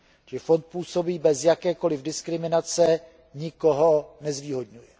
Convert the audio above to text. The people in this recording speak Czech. Čili fond působí bez jakékoliv diskriminace, nikoho nezvýhodňuje.